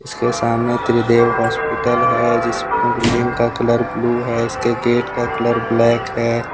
उसके सामने त्रिदेव हॉस्पिटल है जिसपे बिल्डिंग का कलर ब्लू है इसके गेट का कलर ब्लैक है।